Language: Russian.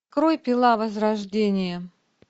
открой пила возрождение